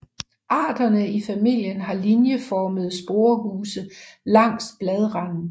Arterne i familien har linjeformede sporehuse langs bladranden